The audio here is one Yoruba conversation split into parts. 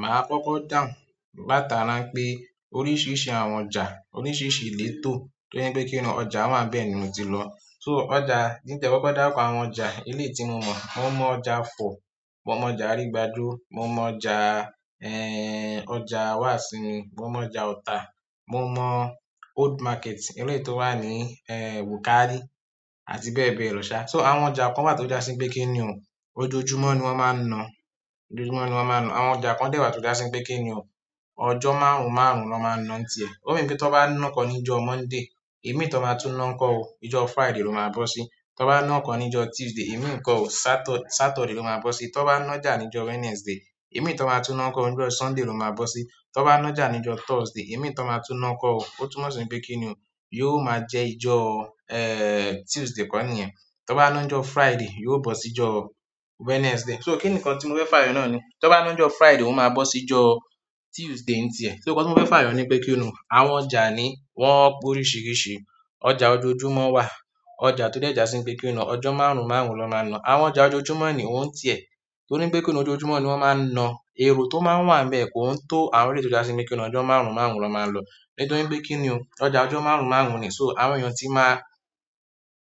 Màá kọ́kọ́ dàún látarà n pé oríṣiríṣi àwọn ọjà, oríṣiríṣi ilétó to jẹ pé kíni o ọjà wáa ń bẹ́ẹ̀ ni mo ti lọ. So ọjà ki n ti ẹ kọ́kọ́ darukọ àwọn ọjà eléyi tí mo mọ̀, mo mọ ọjà ifọ̀, mo mọ ọjà Àrígbájo, mo mọ ọjà Wàsìnmí, mo mọ ọjà Ọ̀tà, mo mọ Old Market, eléyi tó wà ní Wùkálì àti bẹ́ẹ̀ bẹ́ẹ̀ lọ sá. So àwọn ọjà kan wà tó já sí wípé kíni o, ojoojúmọ́ ni wọ́n máa ń na, ojoojúmọ́ ni wọ́n máa ń na. Àwọn ọjà kan dẹ̀ wà tó já sí wípé kíni o, ọjọ́ márùn-ún márùn-ún na máa ń na ǹtì ẹ. Ókan je wípé tan bá ná kan ní ìjọ Monday, imi tan máa tún ná ǹ ko ò, ìjọ Friday ló máa bọ́ sí. Tan bá ná kan ní ìjọ Tuesday, imi ǹ ko ò, Satur-Saturday ló máa bọ́ sí. Tan bá nájà ní ìjọ Wednesday, imi tan máa tún ná ǹ ko ò, ìjọ Sunday ló máa bọ́ sí. Tan bá nájà ní ìjọ Thursday, imi tan máa tún ná ǹ ko ò, ó tún mọ̀ sí wípé kíni o, yóò máa jẹ́ ìjọ, Tuesday kọ́ niyẹn. Tan bá ná n jọ Friday, yóò bọ́ sí ìjọ Wednesday. So kí nǹkan tí mo fẹ́ fàyọ̀ nàa ní, tan bá ná njọ Friday, ó máa bọ́ sí ìjọ Tuesday ǹtì ẹ. So nǹkan tí mo fẹ́ fàyọ̀ ní pé kíni o, àwọn ọjà ni wọ́n pe oríṣiiríṣii. Ọjà ojoojúmọ́ wà, ọjà tó dẹ̀ já sí wípé kíni o, ọjọ́ márùn-ún márùn-ún na máa ń na. Àwọn ọjà ojoojúmọ́ ní ouǹ tìẹ, torí pé kíni ojoojúmọ́ ni wọ́n máa ń na. Èro tó máa ń wà n bẹ̀ kò ń tó àwọn eléyi tó já sí wípé kíni o, ọjọ́ márùn-ún márùn-ún na máa ń lọ. Ní torí pé kíni o, ọjà ọjọ́ márùn-ún márùn-ún ni. So àwọn èèyàn tí máa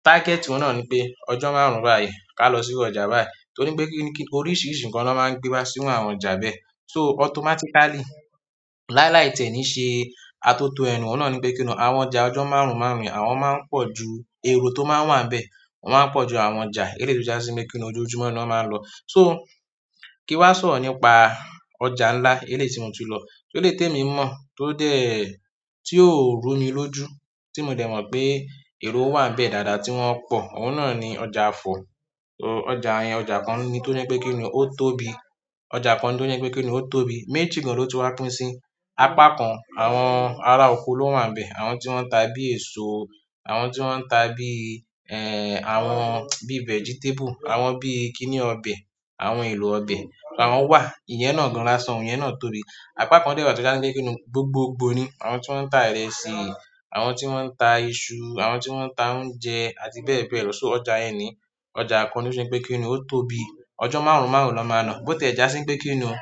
target won náà ní pé ọjọ́ márùn-ún báyìí ká lọ sí ọjà báyìí. Torí pé kíni kí oríṣiiríṣii nǹkan na máa ń gbé wá sí iru àwọn ọjà bẹ́ẹ̀. So automatically, láíláì tiẹ́ ni ṣe atoto ẹnu òun náà ní pé kíni o, àwọn ọjà ọjọ́ márùn-ún márùn-ún yen, àwọn máa ń pọ̀ ju èro tó máa ń wà n bẹ̀, wọ́n máa ń pọ̀ ju àwọn ọjà eléyi tó já sí wípé kíni o, ojoojúmọ́ ni wọ́n máa ń lọ. So kí n wá sọ̀rọ̀ nípa ọjà ńlá eléyi tí mo tun lọ. Eléyi témi mọ̀ tó dé tí ò rú mi lójú tí mo dẹ̀ mọ̀ pé èro wà n bẹ̀ dáadáa tí wọ́n pọ̀, òun náà ni ọjà Ifọ̀. So ọjà yẹn, ọjà kan ni tó je pé kíni o, ó tóbi. Ọjà kan ni tó je pé kíni o, ó tóbi. Méjì gan ló tun wá pín sí. Apá kan àwọn ará oko ló wà n bẹ̀, àwọn tí wọ́n ń ta bí èso, àwọn tí wọ́n ń ta bí, àwọn bí vegetable, àwọn bí kíni ọbẹ̀, àwọn èlò ọbẹ̀ awọ́n wà. Iyẹn náà gan láṣan, iyẹn náà tobí apá kan dè wa tó já sí wípé kíni o, gbogbogbò ni. Àwọn tí wọ́n ń ta ìrẹsì, àwọn tí wọ́n ń ta iṣu, àwọn tí wọ́n ń ta oúnjẹ àti bẹ́ẹ̀ bẹ́ẹ̀ lọ. So ọjà yẹn ni ọjà kan ni tó se pé kíni o, ó tóbi. Ọjọ́ márùn-ún márùn-ún na máa ń ná. Bo tie ja si wípé kini o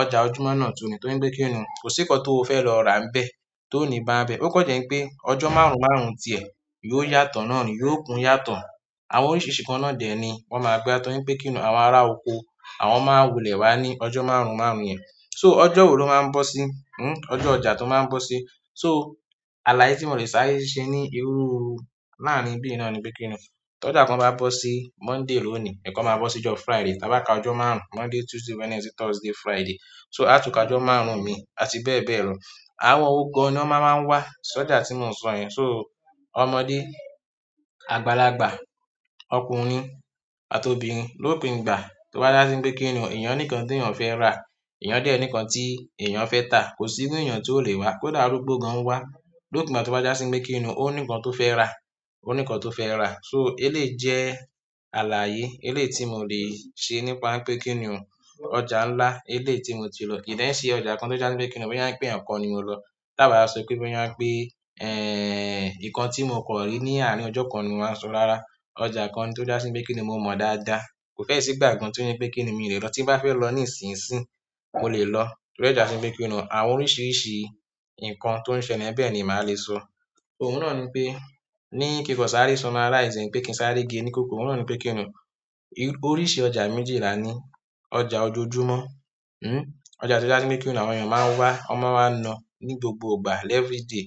ọjà ojúmọ́ náà tun ni, torí pe ki ni o, ko si nǹkan to fe lo ra nbe to ni ba n be. Ó kan jẹ́ pé ọjọ́ márùn-ún márùn-ún tìẹ yóò yàtọ̀ náà ni, yóò kun yàtọ̀. Àwọn oríṣiiríṣii ǹnkan náà dẹ́ ni wọ́n máa gbé wá torí pé kíni o, àwọn ará oko àwọn máa wulẹ̀ wá ní ọjọ́ márùn-ún márùn-ún yẹn. So ọjọ́ wo ló máa ń bọ́ sí, ọjọ́ ọjà tó máa ń bọ́ sí. So àlàye tí mò lè sáré ṣe ní irú láàrin ibí ì náà ni pé kíni o, ti ọjà kan bá bọ́ sí Monday lóní, ikan máa bọ́ sí ìjọ Friday. Ta bá ka ọjọ́ márùn-ún, Monday, Tuesday, Wednesday, Thursday, Friday. So à tún ká ọjọ́ márùn-ún mi àti bẹ́ẹ̀ bẹ́ẹ̀ lọ. Àwọn wo gan ni wọ́n maa máa ń wá sí ọjà tí mò ń sọ yẹn. So ọmọdé, àgbàlagbà, ọkùnrin àti obìnrin lópin ìgbà tó bá já sí wípé kíni o, èèyàn ní nǹkan ti èèyàn fẹ́ rà, èèyàn dẹ́ nì nǹkan tí èèyàn fẹ́ ta. Kò sí iru èèyàn ti ó lè wá. Kódà arúgbó gan wá, lópin ìgbà tó bá já sí wípé kíni o, ó ní nǹkan tó fẹ́ rà, ó ní nǹkan tó fẹ́ rà. So eléyi jẹ́ àlàye, eléyi tí mò lè ṣe nípa wipé kíni o, ọjà ńlá eléyi tí mo ti lọ. Kì í dẹ̀ n ṣe ọjà kan tó já sí wípé kíni o, boya wipé eẹ̀kan ni mo lọ. Ta ba wa so pe boya wípé nǹkan ti mo kan ri ni àárín ojo kan ni mo wa so, rara. Ọjà kan ni tó já sí wípé kíni o, mo mọ̀ dáadáa. Kò fẹ́ ṣí ìgbà kan tí ó je pé kíni o, mi lè lọ tí n bá fẹ́ lọ nísinyi-sìnyí, mo lè lọ. To dẹ́ já sí wípé kíni o, àwọn oríṣiiríṣii nǹkan tó ń ṣele n bẹ̀ ni màá lè sọ. Oun náà ni pé ní kin kan sáré summarize e wipé kí n sáré gé ní kukuru. Òun náà ni pé kíni o, oríṣi ọjà méjì là ní. Ọjà ojoojúmọ́, ọjà tó já sí wípé kíni o, àwọn èèyàn máa ń wá, wọ́n máa ń ná ní gbogbo ìgbà l-every day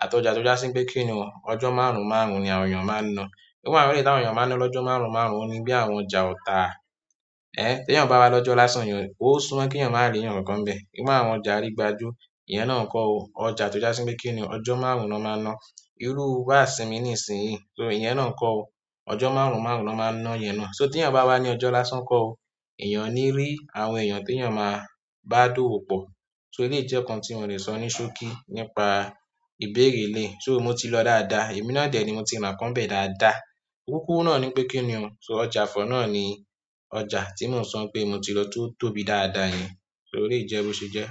àti ọjà tó já sí wípé kíni o, ọjọ́ márùn-ún márùn-ún ni àwọn èèyàn máa ń ná. Ìru àwọn eléyi tí àwọn èèyàn máa ń ná lọ́jọ́ márùn-ún márùn-ún òun ní bí àwọn ọjà ọ̀tà, tí èèyàn bá wá lọ́jọ́ lásán, eeyan o ni--ó sún mo kí èèyàn máa rí eeyan kankan nbẹ̀. Ìru àwọn ọjà àrígbájú, iyẹn náà ǹ ko ò, ọjà tó já sí wípé kíni o, ọjọ́ márùn-ún na máa ń ná. Irú bàásímí nísinyí, so iyẹn náà ǹ ko ò, ọjọ́ márùn-ún márùn-ún na máa ń ná iyẹn náà. So tí èèyàn bá wá ní ọjọ́ lásán, ǹ ko ò, èèyàn o ní rí àwọn èèyàn tí èèyàn máa bá dowo pọ̀. So eléyi jẹ́ nǹkan tí mò lè sọ ní ṣókí nípa ìbéèrè eléyi. So mo ti lọ dáadáa, èmi náà dẹ́ ni mo ti rà ǹnkan nbẹ̀ dáadáa. Kúkúru náà ni pé kíni o, so ọjà Ifọ̀ náà ni ọjà tí mò ń sọ pé mo ti lọ tó tóbi dáadáa yẹn. So eleyi je bo se je.